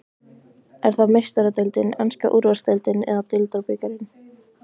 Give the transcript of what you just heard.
Er það Meistaradeildin, enska úrvalsdeildin eða deildarbikarinn?